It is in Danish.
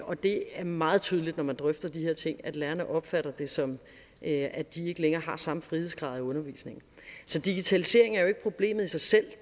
og det er meget tydeligt når man drøfter de her ting at lærerne opfatter det som at de ikke længere har samme frihedsgrad i undervisningen så digitaliseringen er jo ikke problemet i sig selv